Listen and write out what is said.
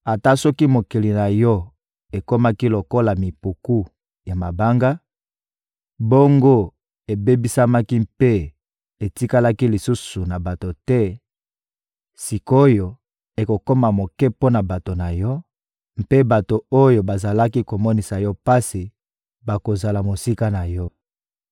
Ata soki mokili na yo ekomaki lokola mipiku ya mabanga, bongo ebebisamaki mpe etikalaki lisusu na bato te; sik’oyo, ekokoma moke mpo na bato na yo, mpe bato oyo bazalaki komonisa yo pasi bakozala mosika na yo.